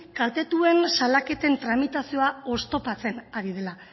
kaltetuen salaketen tramitazioa oztopatzen ari dela